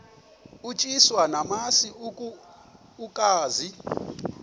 utyiswa namasi ukaze